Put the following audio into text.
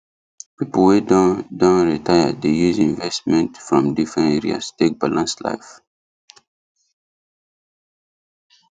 people wey don don retire dey use investment from different areas take balance life